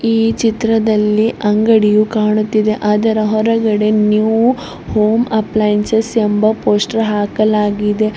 ಈ ಚಿತ್ರದಲ್ಲಿ ಅಂಗಡಿಯು ಕಾಣುತಿದೆ ಅದರ ಹೊರಗಡೆ ನ್ಯೂ ಹೋಮ್ ಅಪ್ಲೈನ್ಸಸ್ ಎಂಬ ಪೋಸ್ಟರ್ ಹಾಕಲಾಗಿದೆ.